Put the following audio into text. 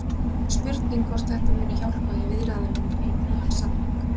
Spurning hvort þetta muni hjálpa í viðræðunum um nýjan samning?